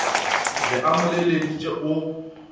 be a mo leleditše o